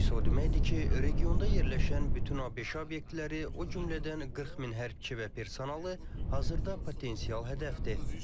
Bu isə o deməkdir ki, regionda yerləşən bütün ABŞ obyektləri, o cümlədən 40 min hərbçi və personalı hazırda potensial hədəfdir.